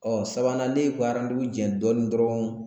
Ɔ sabanan ne ye baara jɛ dɔɔnin dɔrɔn